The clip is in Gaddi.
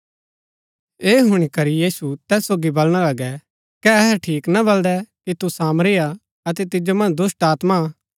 ऐह हूणी करी यहूदी तैस सोगी बलणा लगै कै अहै ठीक ना बलदै कि तू सामरी हा अतै तिजो मन्ज दुष्‍टात्मा हा